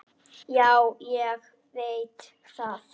Já, ég veit það.